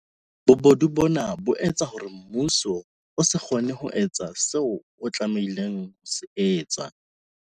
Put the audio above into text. Bobodu bona bo etsa hore mmuso o se kgone ho etsa seo o tlameha ho se etsa.